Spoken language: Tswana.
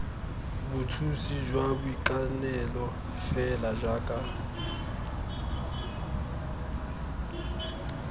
bothusi jwa boitekanelo fela jaaka